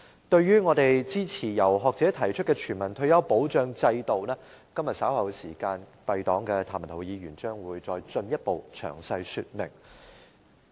對於我們支持由學者提出的全民退休保障制度，今天稍後時間敝黨的譚文豪議員將進一步詳細說明。